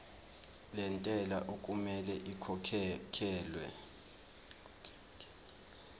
lentela okumele ikhokhekhelwe